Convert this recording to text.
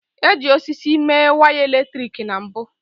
E ji osisi mee wiaya eletrik na mbu